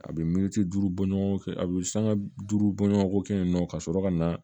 A bɛ miniti duuru bɔɲɔgɔnko kɛ a bɛ sanga duuru bɔɲɔgɔnko kɛ yen nɔ ka sɔrɔ ka na